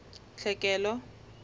tlhekelo